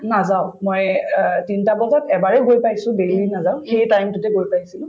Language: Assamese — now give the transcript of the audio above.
নাজাও মই অ তিনটা বজাত এবাৰে গৈ পাইছো daily নাযাওঁ সেই time তোতে গৈ পাইছিলো